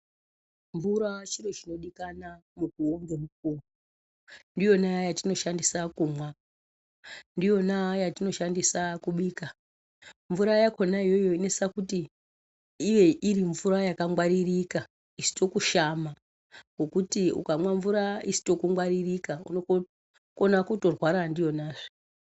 Mvura chiro chinodikana mukuwo ngemukuwo. Ndiyona yatinoshandisa kumwa, ndiyona yatinoshandisa kubika, mvura yakhona iyoyo inosisa kuti ive iri mvura yakangwaririka, isito kushama ngekuti ukamwa mvura isito kungwaririka unokona kutorwara ndiyonazve.